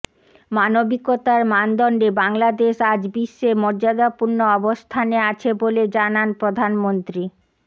মানবিকতার মানদণ্ডে বাংলাদেশ আজ বিশ্বে মর্যাদাপূর্ণ অবস্থানে আছে বলে জানান প্রধানমন্ত্রী